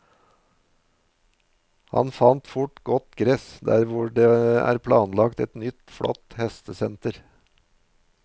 Han fant fort godt gress der hvor det er planlagt et nytt, flott hestesenter.